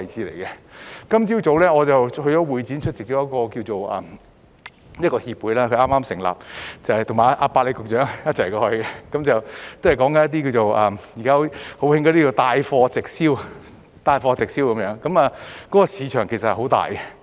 我今天早上到會展出席一個剛成立的協會的活動，"百里"局長也有出席，是關於現時很流行的帶貨直銷，這個市場其實很大。